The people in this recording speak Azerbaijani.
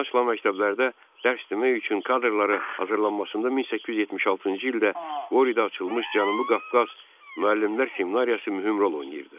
Yeni açılan məktəblərdə dərs demək üçün kadrlara hazırlanmasında 1876-cı ildə Qoridə açılmış Cənubi Qafqaz müəllimlər seminariyası mühüm rol oynayırdı.